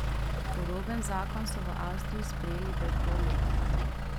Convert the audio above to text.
Podoben zakon so v Avstriji sprejeli pred pol leta.